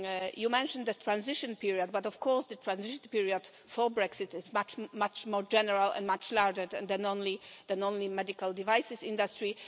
You mentioned the transition period, but of course the transition period for Brexit is much more general and much broader than only the medical devices industry.